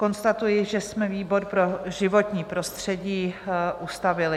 Konstatuji, že jsme výbor pro životní prostředí ustavili.